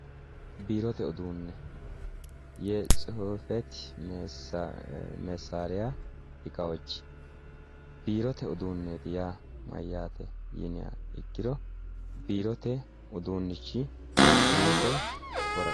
Biirote uduune yetsifate mexira iqawochi biirote uduuneti yaa mayate yinniha ikkiro biirote uduunichi lukke woraqatu